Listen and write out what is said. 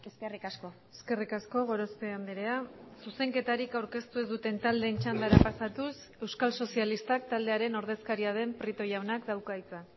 eskerrik asko eskerrik asko gorospe andrea zuzenketarik aurkeztu ez duten taldeen txandara pasatuz euskal sozialistak taldearen ordezkaria den prieto jaunak dauka hitza